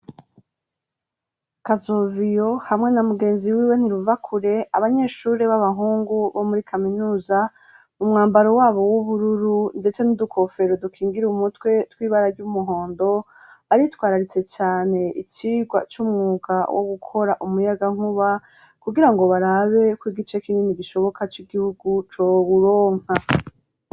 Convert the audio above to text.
Kazoviyo hamwe na mugenzi wiwe ntiruvakure, abanyeshure b'abahungu bo muri kaminuza, mu mwambaro wabo w'ubururu ndetse n'udukofero dukingira umutwe tw'ibara ry'umuhondo, baritwararitse cane icigwa c'umwuga wo gukora umuyagankuba, kugira ngo barabe kw'igice kinini gishoboka c'igihugu cowuronka.